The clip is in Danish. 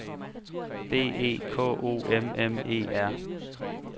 B E K O M M E R